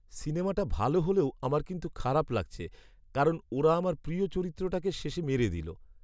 সিনেমাটা ভালো হলেও আমার কিন্তু খারাপ লাগছে কারণ ওরা আমার প্রিয় চরিত্রটাকে শেষে মেরে দিলো।